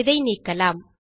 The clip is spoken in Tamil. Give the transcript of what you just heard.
இதை நீக்கலாம்